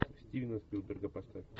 стивена спилберга поставь